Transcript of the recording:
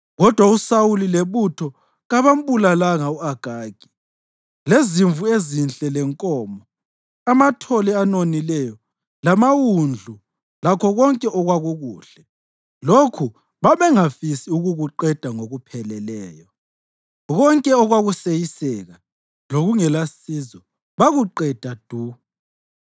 Kodwa uSawuli lebutho kabambulalanga u-Agagi lezimvu ezinhle lenkomo, amathole anonileyo lamawundlu lakho konke okwakukuhle. Lokhu babengafisi ukukuqeda ngokupheleleyo, konke okwakuseyiseka lokungelasizo bakuqeda du.